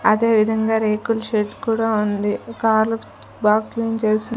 అదేవిధంగా రేకుల్ షెడ్ కూడా ఉంది కార్ల్ బార్కింగ్ చేసి--